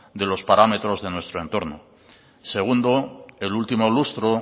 de los parámetros de nuestro entorno segundo el último lustro